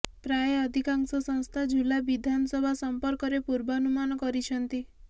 ପ୍ରାୟ ଅଧିକାଂଶ ସଂସ୍ଥା ଝୁଲା ବିଧାନସଭା ସଂପର୍କରେ ପୂର୍ବାନୁମାନ କରିଛନ୍ତି